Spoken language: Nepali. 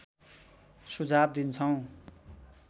सुझाव दिन्छौँ